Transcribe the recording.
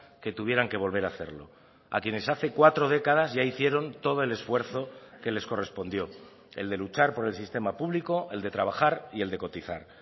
que tuvieran que volver a hacerlo a quienes hace cuatro décadas ya hicieron todo el esfuerzo que les correspondió el de luchar por el sistema público el de trabajar y el de cotizar